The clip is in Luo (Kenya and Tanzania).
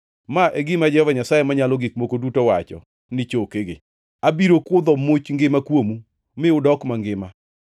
Ma e gima Jehova Nyasaye Manyalo Gik Moko Duto wacho ni chokegi: Abiro kudho much ngima kuomu, mi unudok mangima.